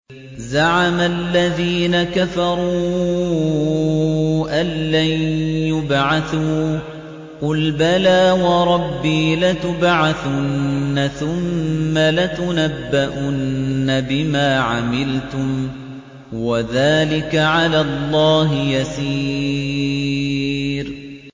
زَعَمَ الَّذِينَ كَفَرُوا أَن لَّن يُبْعَثُوا ۚ قُلْ بَلَىٰ وَرَبِّي لَتُبْعَثُنَّ ثُمَّ لَتُنَبَّؤُنَّ بِمَا عَمِلْتُمْ ۚ وَذَٰلِكَ عَلَى اللَّهِ يَسِيرٌ